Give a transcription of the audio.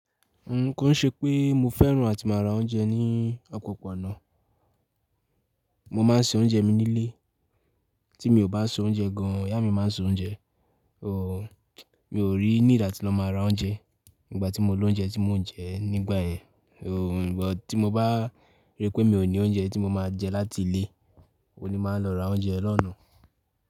Ko n ṣe pé mo fẹ́ràn àti máa ra oúnjẹ ní opoponá, mo máa ń se oúnjẹ mi nílé, tí mi ò bá se oúnjẹ gan, ìyá mi máa ń se oúnjẹ. So, mi ò really need atí lọ máa ra oúnjẹ nígbà tí mo lóúnjẹ tí mò ń jẹ nígbà yẹn. So, nígbà tí mo bá rí pé mi ò ní oúnjẹ tí mo máa jẹ láti ilé, òun ni mo máa ń lọ ra oúnjẹ lọ́na.